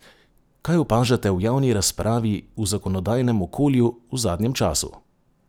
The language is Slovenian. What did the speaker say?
Kaj opažate v javni razpravi v zakonodajnem okolju v zadnjem času?